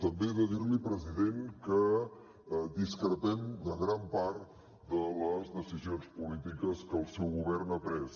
també he de dir li president que discrepem de gran part de les decisions polítiques que el seu govern ha pres